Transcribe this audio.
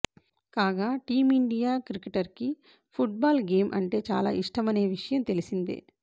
కాగా టీమిండియా క్రికెటర్కి football game అంటే చాలా ఇష్టమనే విషయం తెలిసిందే